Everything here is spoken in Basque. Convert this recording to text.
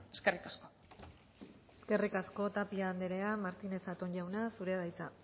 eskerrik asko eskerrik asko tapia andrea martínez zatón jauna zurea da hitza